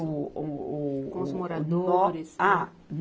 O, o, o, o. Com os moradores? Ah.